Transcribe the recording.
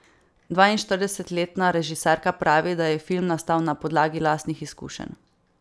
Dvainštiridesetletna režiserka pravi, da je film nastal na podlagi lastnih izkušenj.